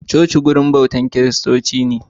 Coci wajen bautan kiristoci ne.